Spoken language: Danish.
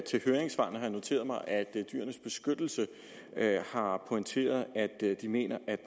noteret mig at dyrenes beskyttelse har pointeret at de mener